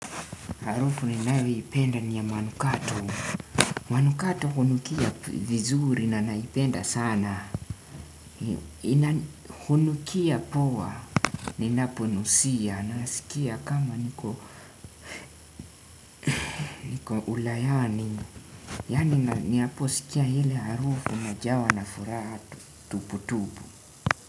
Harufu ninayoipenda niya manukato. Manukato hunukia vizuri na naipenda sana. Hunukia poa, ninapo nusia, nasikia kama niko ulayani. Yani niapo sikia hile harufu na jawa na fura tuputupu.